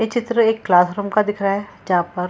ये चित्र एक क्लासरूम का दिख रहा है जहाँ पर --